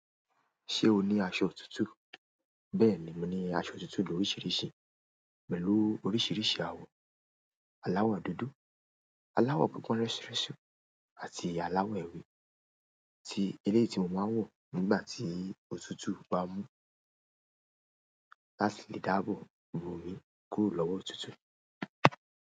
Ṣé o ní aṣọ òtútù? Bẹ́ẹ̀ni, mo ní aṣọ òtútù lóriṣìíríṣìí, pẹ̀lú oríṣìíríṣìí àwọ̀. Àláwọ̀ dúdú, àláwọ̀ pipọ́n rẹ́surẹ́sú àti àláwọ̀ ewé tí eléyi tí mo máa n wọ̀ nígbà tí òtútù bá mú láti lè dáàbò bo mi kúrò lọ́wọ́ òtútù.